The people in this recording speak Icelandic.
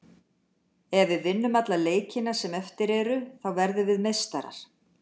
Ef við vinnum alla leikina sem eftir eru, þá verðum við meistarar.